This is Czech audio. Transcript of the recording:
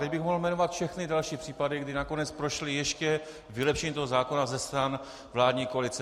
Tady bych mohl jmenovat všechny další případy, kdy nakonec prošla ještě vylepšení toho zákona ze strany vládní koalice.